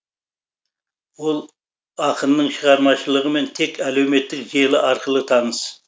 ол ақынның шығармашылығымен тек әлеуметтік желі арқылы таныс